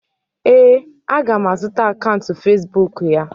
ee, a ga m azụta akaụntụ Facibụkụ ya.